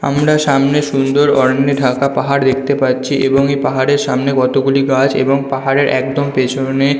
আমরা সামনে সুন্দর অরণ্যে ঢাকা পাহাড় দেখতে পাচ্ছি এবং এই পাহাড়ের সামনে কতগুলি গাছ এবং পাহাড়ের একদম পিছনে --